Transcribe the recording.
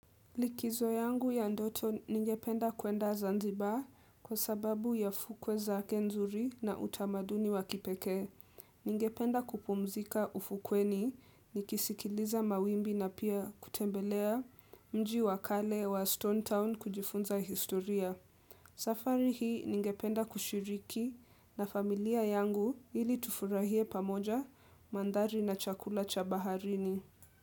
Likizo yangu ya ndoto ningependa kuenda Zanzibar kwa sababu ya fukwe zake nzuri na utamaduni wa kipekee. Ningependa kupumzika ufukweni, nikisikiliza mawimbi na pia kutembelea mji wakale wa Stone Town kujifunza historia. Safari hii ningependa kushiriki na familia yangu ili tufurahie pamoja mandhari na chakula cha baharini.